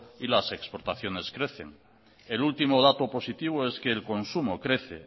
y las exportaciones crecen el último dato positivo es que el consumo crece